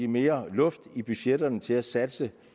mere luft i budgetterne til at satse